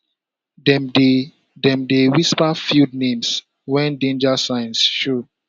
dem dey dem dey whisper field names when danger signs show